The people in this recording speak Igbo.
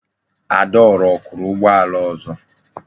Adaora o kuru ugboala ozo?